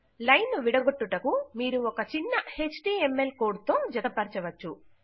line ను విడగొట్టుటకు మీరు ఒక చిన్న ఎచ్టీఎంఎల్ కోడ్ తో జతపర్చచవచ్చు